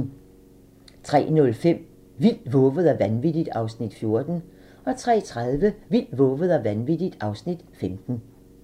03:05: Vildt, vovet og vanvittigt (Afs. 14) 03:30: Vildt, vovet og vanvittigt (Afs. 15)